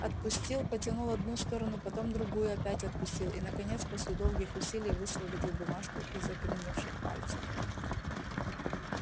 отпустил потянул одну сторону потом другую опять отпустил и наконец после долгих усилий высвободил бумажку из окаменевших пальцев